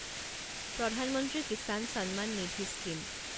প্ৰধান মন্ত্ৰী কিচান সম্মান নিধি স্কিম